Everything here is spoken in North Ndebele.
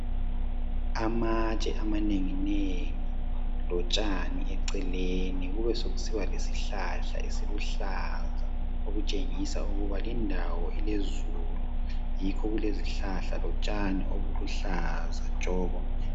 amatshe amanenginengi lotshani eceleni kubesekusiba lesihlahla esiluhlaza okutshengisa ukuba indawo ilezulu yikho kulezihlahla lotshani obulu hlaza tshoko